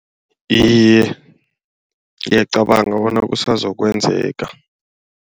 Iye, ngiyacabanga bona kusazokwenzeka.